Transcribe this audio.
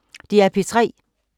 DR P3